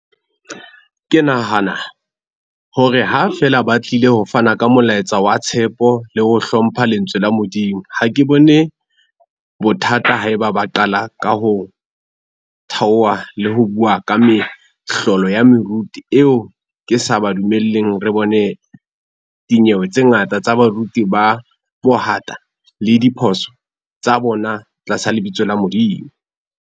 Ke nahana hore ha feela ba tlile ho fana ka molaetsa wa tshepo le ho hlompha lentswe la Modimo. Ha ke bone bothata ha e ba ba qala ka ho thaoha le ho bua ka mehlolo ya meruti eo ke sa ba dumelleng re bone dinyewe tse ngata tsa baruti ba bohata le diphoso tsa bona tlasa lebitso la Modimo.